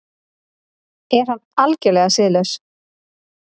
Er hann algerlega siðlaus?